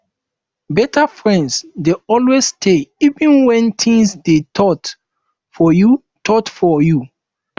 beta friends dey always stay even wen things dey tough for you tough for you